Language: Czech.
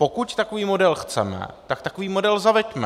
Pokud takový model chceme, tak takový model zaveďme.